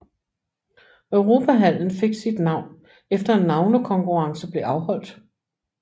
Europahallen fik sit navn efter en navnekonkurrence blev afholdt